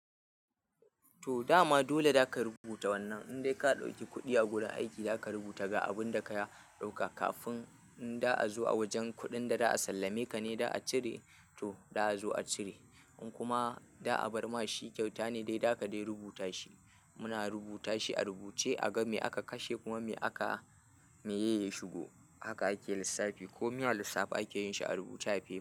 To dama dole zaka rubuta wannan. Indai ka ɗauki kuɗi a gurin aiki, za ka rubuta ga abun da ka ɗauka. Kafin in da a zo a wajen kuɗin da za a sallameka ne, da a cire to da a zo a cire. In kuma da a bar ma shi kyauta ne dai, da ka dai rubuta shi. Muna rubuta shi a rubuce, a ga me aka kashe kuma me aka, meye ya shigo. Haka ake lissafi. Ko mi a lissafe ake yin shi a rubuce a fef.